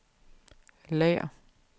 lager